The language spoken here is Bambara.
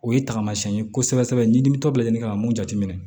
O ye taamasiyɛn ye kosɛbɛ ɲinini tɔ bɛɛ ɲini ka mun jateminɛ